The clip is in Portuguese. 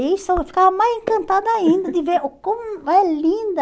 nisso E eu ficava mais encantada ainda de ver como é linda.